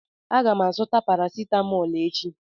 Aga m azụta parasitamol echi.